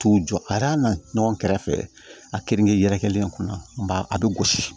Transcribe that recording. T'u jɔ a na ɲɔgɔn kɛrɛfɛ a keninke yɛrɛkɛlen in kunna ba a bɛ gosi